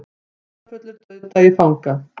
Dularfullur dauðdagi fanga